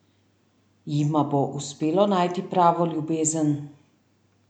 Jima bo uspelo najti pravo ljubezen?